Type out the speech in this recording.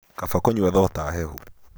Kaba kũnyua thota hehu.